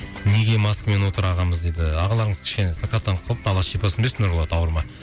неге маскамен отыр ағамыз дейді ағаларыңыз кішкене сырқаттанып қалыпты алла шипасын берсін нұрболат ауырма